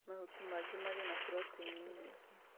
Mahuti mangĩ marĩ na proteini nyingĩ